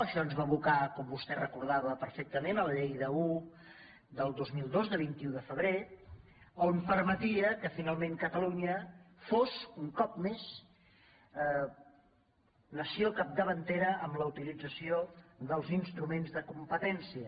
això ens va abocar com vostè recorda·va perfectament a la llei un del dos mil dos de vint un de febrer que permetia que finalment catalunya fos un cop més nació capdavantera en la utilització dels instruments de competència